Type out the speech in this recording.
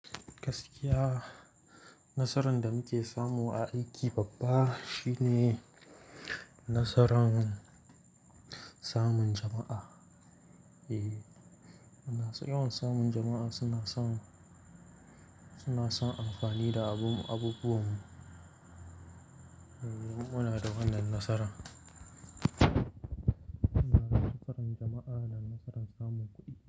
Gaskiya, nasaran da muke samu a aiki babba shine nasaran samun jama'a. E, muna yawa samun jama'a suna son, suna son amfani da abubuwan mu. Mu muna da wannan nasarar. Muna da nasaran jama'a da nasaran samun kuɗi.